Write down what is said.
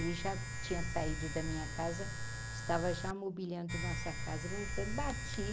Ele já tinha saído da minha casa, estava já mobiliando nossa casa, e montando, bati.